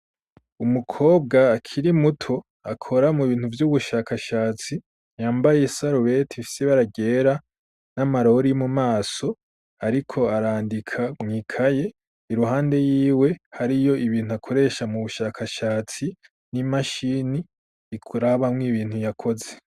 Umukobwa akiri muto akora mu bintu vy'ubushakashatsi yambaye sarowet fise baragera n'amarori mu maso ariko arandika mwikaye iruhande y'iwe hariyo ibintu akoresha mu bushakashatsi n'imashini ikurabamw ibintu yakoze.